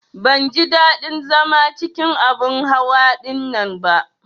Ban ji ɗadin zama cikin abin hawa ɗinnan ba.